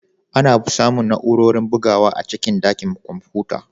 Ana samun na'urorin bugawa a cikin ɗakin kwamfuta.